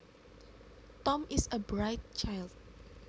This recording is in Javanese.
Tom is a bright child